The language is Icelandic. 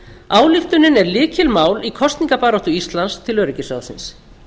ályktunin er lykilmál í kosningabaráttu íslands til öryggisráðsins